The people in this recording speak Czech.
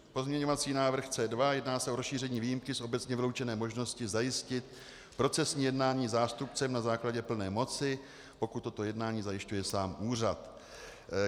Pozměňovací návrh C2, jedná se o rozšíření výjimky z obecně vyloučené možnosti zajistit procesní jednání zástupcem na základě plné moci, pokud toto jednání zajišťuje sám úřad.